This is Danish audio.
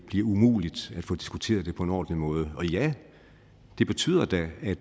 bliver umuligt at få diskuteret det på en ordentlig måde ja det betyder da at